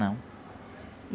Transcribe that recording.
Não.